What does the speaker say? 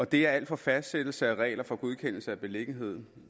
det er alt fra fastsættelse af regler for godkendelse af beliggenhed